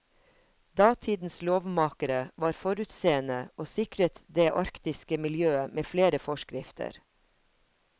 Datidens lovmakere var forutseende og sikret det arktiske miljøet med flere forskrifter.